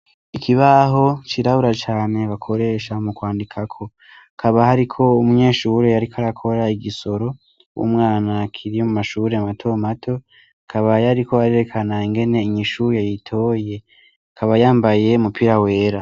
Ikibaho cirabura cane bakoresha mukwandikako, Hakaba hariko umunyeshure ariko arakora igisoro, umwana akiri mu mashure mato mato, akaba yariko arerekana ingene inyishu yayitoye. Akaba yambaye umupira wera.